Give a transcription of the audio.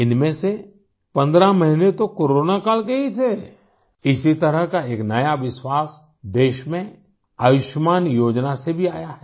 इनमें से 15 महीने तो कोरोनाकाल के ही थे इसी तरह का एक नया विश्वास देश में आयुष्मान योजना से भी आया है